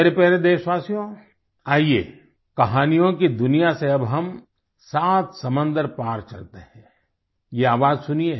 मेरे प्यारे देशवासियो आईये कहानियों की दुनिया से अब हम सात समुन्द्र पार चलते हैं ये आवाज़ सुनिए